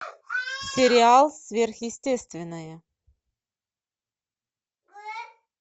сериал сверхъестественное